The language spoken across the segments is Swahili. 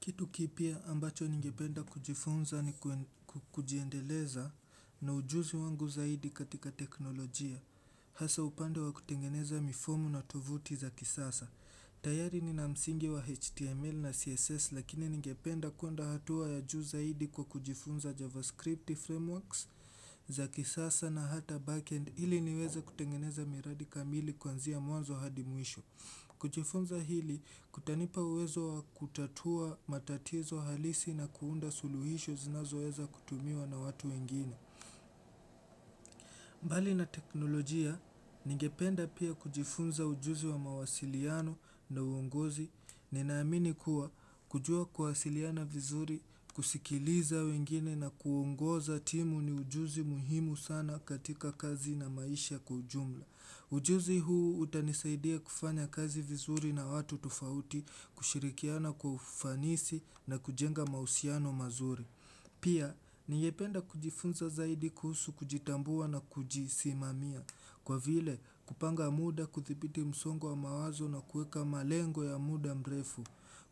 Kitu kipya ambacho ningependa kujifunza ni kujiendeleza na ujuzi wangu zaidi katika teknolojia. Hasa upande wa kutengeneza mifomu na tovuti za kisasa. Tayari nina msingi wa HTML na CSS lakini ningependa kuenda hatua ya juu zaidi kwa kujifunza JavaScript frameworks za kisasa na hata backend ili niweze kutengeneza miradi kamili kuanzia mwanzo hadi mwisho. Kujifunza hili kutanipa uwezo wa kutatua matatizo halisi na kuunda suluhisho zinazoweza kutumiwa na watu wengine. Mbali na teknolojia, ningependa pia kujifunza ujuzi wa mawasiliano na uongozi. Ninaamini kuwa kujua kuwasiliana vizuri, kusikiliza wengine na kuongoza timu ni ujuzi muhimu sana katika kazi na maisha kwa ujumla. Ujuzi huu utanisaidia kufanya kazi vizuri na watu tofauti kushirikiana kwa ufanisi na kujenga mahusiano mazuri. Pia, ningependa kujifunza zaidi kuhusu kujitambua na kujisimamia. Kwa vile, kupanga muda kuthibiti msongo wa mawazo na kuweka malengo ya muda mrefu.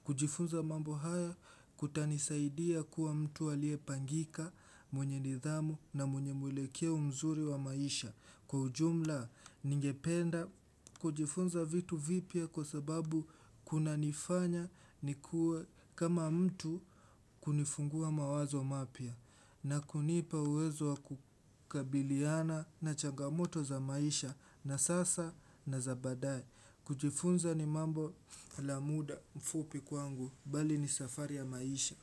Kujifunza mambo haya kutanisaidia kuwa mtu alie pangika, mwenye nidhamu na mwenye mwelekeo mzuri wa maisha. Kwa ujumla ningependa kujifunza vitu vipya kwa sababu kunanifanya nikuwe kama mtu kunifungua mawazo mapya na kunipa uwezo wa kukabiliana na changamoto za maisha na sasa na za baadaye kujifunza ni mambo la muda mfupi kwangu bali ni safari ya maisha.